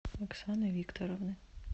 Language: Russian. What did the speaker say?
оксаны викторовны